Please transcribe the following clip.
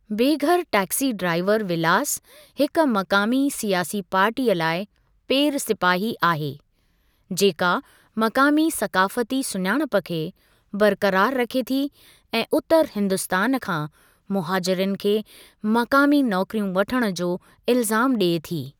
बे घर टैक्सी ड्राईवरु विलास हिक मक़ामी सियासी पार्टीअ लाइ पेरु सिपाही आहे, जेका मक़ामी सक़ाफ़ती सुञाणप खे बरक़रार रखे थी ऐं उतरु हिन्दुस्तान खां मुहाजिरनि खे मक़ामी नौकिरियूं वठणु जो इल्ज़ामु ॾिए थी।